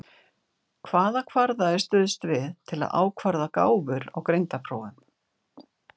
Hvaða kvarða er stuðst við til að ákvarða gáfur á greindarprófum?